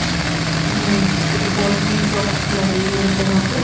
हमें फुटबॉल की शॉप्स लग रही है मेरे को यहां पे।